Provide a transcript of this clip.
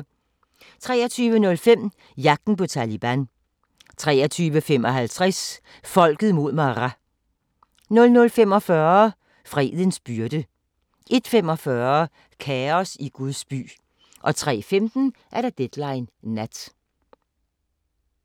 23:05: Jagten på Taliban 23:55: Folket mod Maras 00:45: Fredens byrde 01:45: Kaos i Guds by 03:15: Deadline Nat